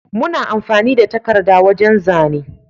Muna amfani da takada wajan zane